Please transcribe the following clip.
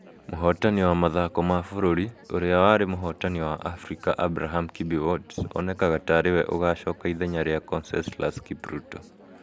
Mũhootani wa mathako ma bũrũri, ũrĩa warĩ mũhotani wa Afrika, Abraham Kibiwott, onekaga ta arĩ we ũgaacoka ithenya rĩa Conseslus Kipruto.